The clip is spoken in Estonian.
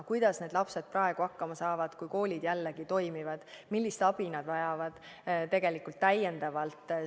Kuidas need lapsed praegu hakkama saavad, kui koolid jälle toimivad, millist abi nad tegelikult täiendavalt vajavad?